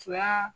Fila